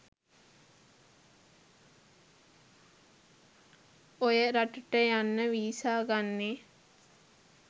ඔය රට ට යන්න වීසා ගන්නෙ